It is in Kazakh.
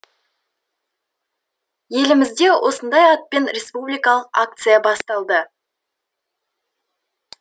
елімізде осындай атпен республикалық акция басталды